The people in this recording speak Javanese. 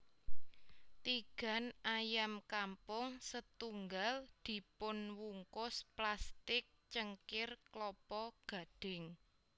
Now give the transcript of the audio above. Tigan ayam kampung setunggal dipunwungkus plastik cengkir klapa gadhing